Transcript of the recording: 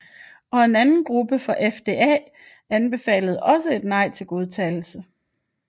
Og en anden rapport fra FDA anbefalede også et nej til godkendelse